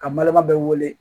Ka balima bɛɛ wele